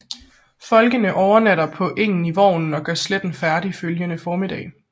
Folkene overnatter på engen i vognen og gør slætten færdig følgende formiddag